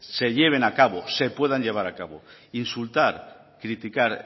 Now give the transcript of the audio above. se lleven a cabo se puedan llevar a cabo insultar criticar